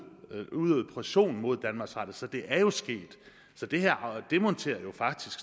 udøvet pression mod danmarks radio så det er jo sket det her demonterer jo faktisk